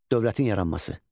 Dövlətin yaranması.